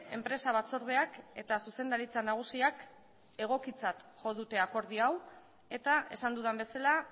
enpresa batzordeak eta zuzendaritza nagusiak egokitzat jo dute akordio hau eta esan dudan bezala